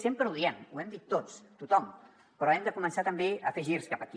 sempre ho diem ho hem dit tots tothom però hem de començar també a fer girs cap aquí